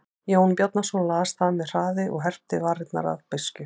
Jón Bjarnason las það með hraði og herpti varirnar af beiskju.